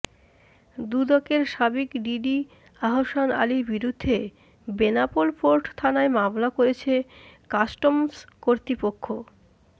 দুদকের সাবেক ডিডি আহসান আলীর বিরুদ্ধে বেনাপোল পোর্ট থানায় মামলা করেছে কাস্টমস কর্তৃপক্ষ